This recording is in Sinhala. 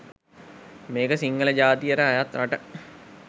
මේ ක සිංහල ජාතියට අයත් රට